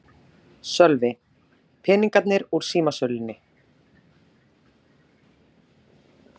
Sölvi: Peningarnir úr símasölunni?